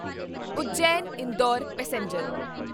Ujjain Indore passenger